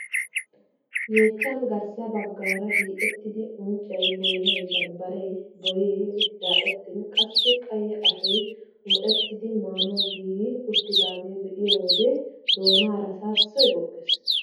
Yeechchan garssa baggaara hiixettidi unccay boynay bambbaree boyee daxettin qassi qaye ashshoy muxettidi maanawu giigi uttidagaa be'iyoo wode doonara saassoy goggees!